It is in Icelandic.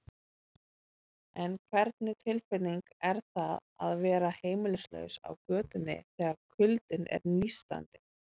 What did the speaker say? En hvernig tilfinning er það að vera heimilislaus á götunni, þegar kuldinn er nístandi?